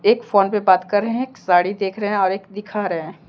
एक फोन पे बात कर रहे है एक साड़ी देख रहे है और एक दिखा रहे है।